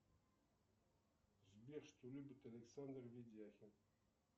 сбер что любит александр ведяхин